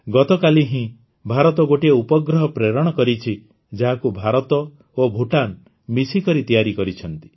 ଗତକାଲି ହିଁ ଭାରତ ଗୋଟିଏ ଉପଗ୍ରହ ପ୍ରେରଣ କରିଛି ଯାହାକୁ ଭାରତ ଓ ଭୁଟାନ ମିଶିକରି ତିଆରି କରିଛନ୍ତି